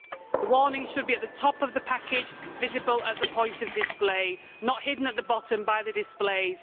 The warnings should be at the top of the packet, visible at the point of display and not hidden at the bottom by the displays.